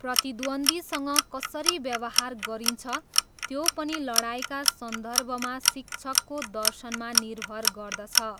प्रतिद्वन्द्वीसँग कसरी व्यवहार गरिन्छ त्यो पनि लडाइँका सन्दर्भमा शिक्षकको दर्शनमा निर्भर गर्दछ।